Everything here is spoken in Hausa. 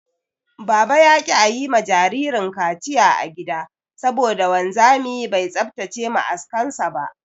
Baba ya ƙi ayi ma jinjirin kaciya a gida saboda wanzami bai tsaftace ma'askan sa ba.